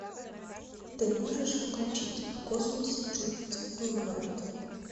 ты можешь включить в космосе чувств не бывает